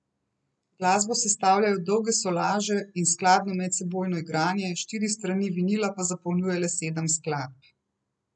Glasbo sestavljajo dolge solaže in skladno medsebojno igranje, štiri strani vinila pa zapolnjuje le sedem skladb.